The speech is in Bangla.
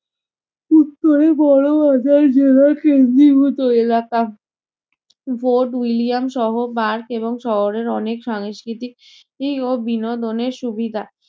উত্তরে বড়বাজার জেলা কেন্দ্রীভূত এলাকা, ফোর্ট ইউলিয়াম সহ এবং শহরের অনেক সংস্কৃতিক ও বিনোদনের সুবিধা।